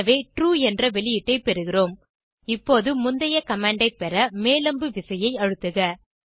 எனவே ட்ரூ என்ற வெளியீட்டை பெறுகிறோம் இப்போது முந்தைய கமாண்ட் ஐ பெற மேல் அம்பு விசையை அழுத்துக